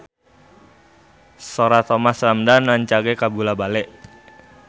Sora Thomas Ramdhan rancage kabula-bale